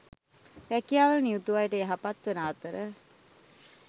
රැකියාවල නියුතු අයට යහපත්වන අතර